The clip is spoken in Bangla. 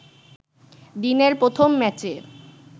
দিনের প্রথম ম্যাচে